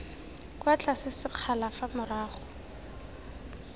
kwa tlase sekgala fa morago